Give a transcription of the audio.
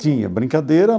Tinha brincadeira.